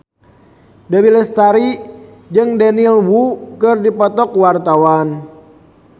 Dewi Lestari jeung Daniel Wu keur dipoto ku wartawan